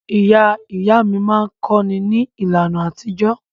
Ìyá ìyá mí máa ka nǹkan ní ìlànà àtijọ́.